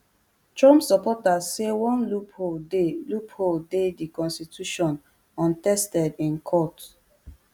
trump supporters say one loophole dey loophole dey di constitution untested in court